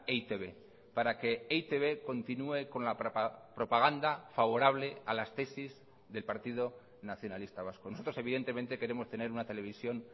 e i te be para que e i te be continúe con la propaganda favorable a las tesis del partido nacionalista vasco nosotros evidentemente queremos tener una televisión